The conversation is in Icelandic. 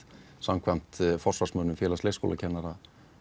samkvæmt forsvarsmönnum Félags leiskólakennara